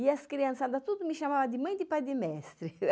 E as criançada tudo me chamava de mãe de pai de mestre.